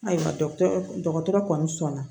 Ayiwa dɔgɔtɔrɔ kɔni sɔn na